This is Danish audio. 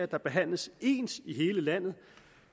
der behandles ens i hele landet